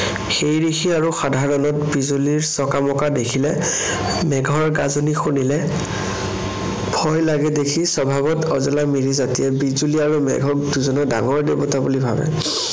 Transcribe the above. সেই দেখি আৰু সাধাৰণত বিজুলীৰ চকামকা দেখিলে, মেঘৰ গাজনি শুনিলে, ভয় লাগে দেখি স্বভাৱত অজলা মিৰি জাতিয়ে বিজুলী আৰু মেঘক দুজনা ডাঙৰ দেৱতা বুলি ভাৱে।